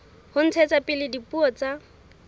ho ntshetsa pele dipuo tsa